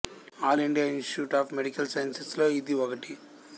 all India institute of medical sciences లలో ఇది ఒకటి